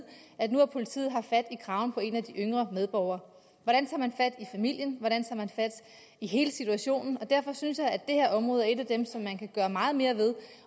at nu har politiet haft fat i kraven på en af de yngre medborgere hvordan tager man fat i familien hvordan tager man fat i hele situationen derfor synes jeg at det her område er et af dem som man kan gøre meget mere ved